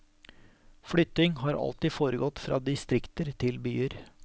Flytting har alltid foregått fra distrikter til byer.